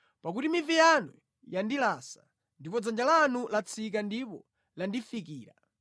Pakuti mivi yanu yandilasa, ndipo dzanja lanu latsika ndipo landifikira.